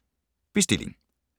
Bestilling